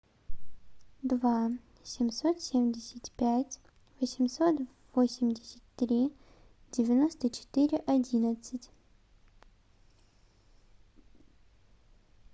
два семьсот семьдесят пять восемьсот восемьдесят три девяносто четыре одиннадцать